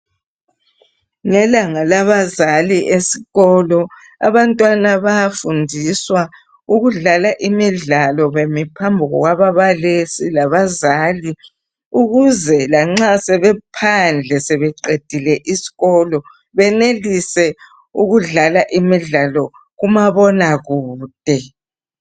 Ngelanga labazali esikolo abantwana bayafundiswa ukudlala imidlalo bemi phambi kwababalisi labazali. Ukuze lanxa sebephandle ,sebeqedile isikolo benelise ukudlala imidlalo kumabonakude.